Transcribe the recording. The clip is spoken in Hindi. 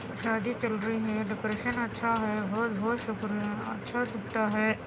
शादी चल रही हैं डेकोरेशन अच्छा हैं सुपर हैंअच्छा दिखता हैं।